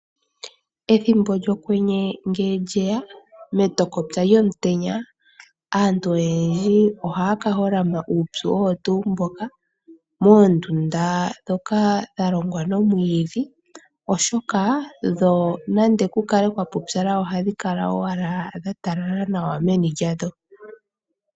Ethimbo lyokwenye ngele lyeya metokopya lyomutenya aantu oyendji ohaya ka holama uupyu owo tuu mboka moondunda ndhoka dha longwa momwiidhi , oshoka dho nande ku kale kwa pupyala ohadhi kala owala dha talala nawa meni lyadho.